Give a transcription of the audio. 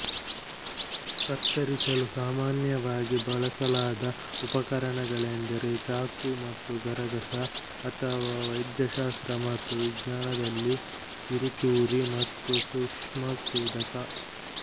ಕತ್ತರಿಸಲು ಸಾಮಾನ್ಯವಾಗಿ ಬಳಸಲಾದ ಉಪಕರಣಗಳೆಂದರೆ ಚಾಕು ಮತ್ತು ಗರಗಸ ಅಥವಾ ವೈದ್ಯಶಾಸ್ತ್ರ ಮತ್ತು ವಿಜ್ಞಾನದಲ್ಲಿ ಕಿರುಚೂರಿ ಮತ್ತು ಸೂಕ್ಷ್ಮಛೇದಕ